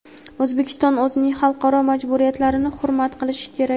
O‘zbekiston o‘zining xalqaro majburiyatlarini hurmat qilishi kerak.